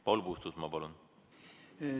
Paul Puustusmaa, palun!